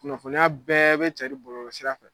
Kunnafoniya bɛɛ be cɛri bɔlɔlɔ sira fɛ